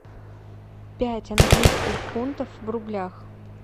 пять английских фунтов в рублях